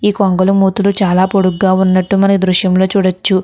ఈ కొంగల మూతులు చాలా పొడుగ్గా ఉన్నట్టు మనం ఈ దృశ్యం లో చూడచ్చు.